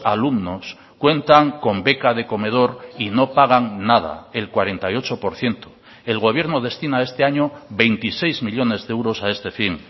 alumnos cuentan con beca de comedor y no pagan nada el cuarenta y ocho por ciento el gobierno destina este año veintiséis millónes de euros a este fin